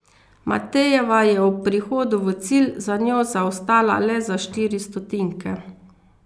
Matejeva je ob prihodu v cilj za njo zaostala le za štiri stotinke.